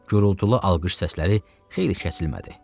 Gurultulu alqış səsləri xeyli kəsilmədi.